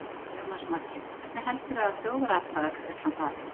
Jónas Margeir: Hvernig heldurðu að þjóðaratkvæðagreiðslan fari?